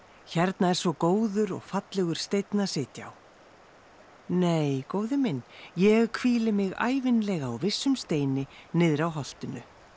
hérna er svo góður og fallegur steinn að sitja á nei góði minn ég hvíli mig ævinlega á vissum steini niðri á holtinu